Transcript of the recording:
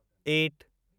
at